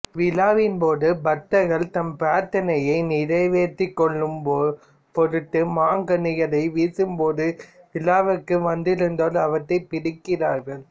விழாவின்போது பக்தர்கள் தம் பிரார்த்தனையை நிறைவேற்றிக்கொள்ளும்பொருட்டு மாங்கனிகளை வீசும்போது விழாவிற்கு வந்திருந்தோர் அவற்றைப் பிடிக்கிறார்கள்